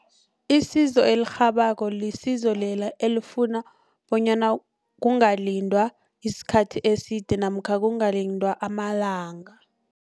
Isizo elirhabako lisizo lela elifuna bonyana kungalindwa isikhathi eside namkha kungalindwa amalanga.